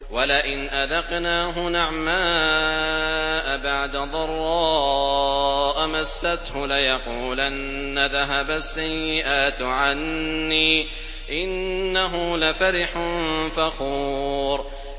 وَلَئِنْ أَذَقْنَاهُ نَعْمَاءَ بَعْدَ ضَرَّاءَ مَسَّتْهُ لَيَقُولَنَّ ذَهَبَ السَّيِّئَاتُ عَنِّي ۚ إِنَّهُ لَفَرِحٌ فَخُورٌ